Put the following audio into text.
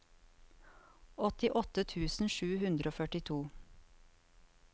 åttiåtte tusen sju hundre og førtito